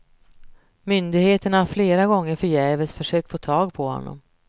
Myndigheterna har flera gånger förgäves försökt få tag på honom.